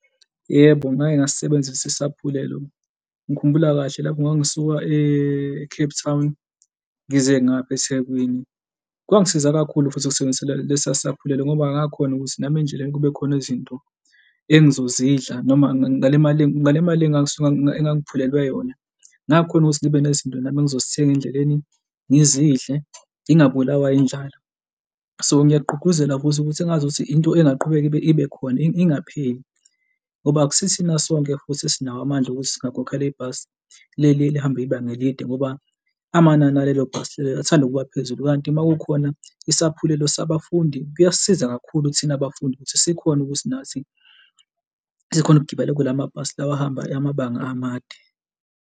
Yebo, ngake ngasisebenzisa isaphulelo. Ngikhumbula kahle lapho ngangisuka e-Cape Town ngize ngapha eThekwini kwangisiza kakhulu, futhi ukusebenzisela lesaphulelo ngoba ngakhona ukuthi nami endleleni kube khona izinto engizozidla noma ngale mali, ngale mali engangisuka, engangiphelelwe yona. ngakhona ukuthi ngibe nezinto nami engizozithenga endleleni, ngizidle ngingabulawa indlala. So, ngiyagqugquzela futhi ukuthi engazuthi into engingaqhubeka ibe khona, ingapheli ngoba akusithina sonke futhi esinawo amandla okuthi singakhokhela ibhasi leli elihamba ibanga elide ngoba amandla alelo bhasi lelo athanda ukuba phezulu, kanti uma kukhona isaphulelo sabafundi, kuyasisiza kakhulu thina bafundi ukuthi sikhone ukuthi nathi sikhone ukugibela kulamabhasi lawa ahamba amabanga amade.